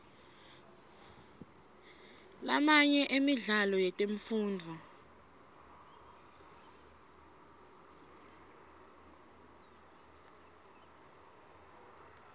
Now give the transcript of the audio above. lamanye emidlalo yetemfundvo